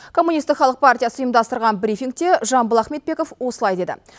коммунистік халық партиясы ұйымдастырған брифингте жамбыл ахметбеков осылай деді